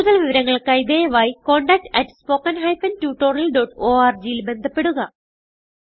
കുടുതൽ വിവരങ്ങൾക്കായി ദയവായി contactspoken tutorialorg ൽ ബന്ധപ്പെടുക